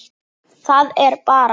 Það er bara.